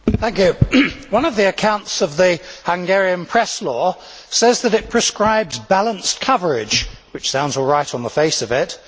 Mr President, one of the accounts of the Hungarian press law, says that it prescribes balanced coverage', which sounds all right on the face of it.